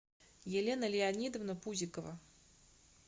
елена леонидовна пузикова